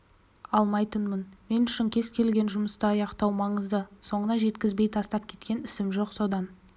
алмайтынмын мен үшін кез келген жұмысты аяқтау маңызды соңына жеткізбей тастап кеткен ісім жоқ содан